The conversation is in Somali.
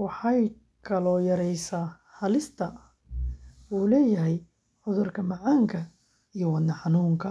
Waxay kaloo yareysaa halista uu leeyahay cudurka macaanka iyo wadne-xanuunka.